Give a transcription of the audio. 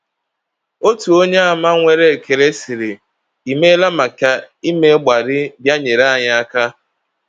Otu Onyeàmà nwere ekele sịrị: “I meela maka ime mgbalị bịa nyere anyị aka.”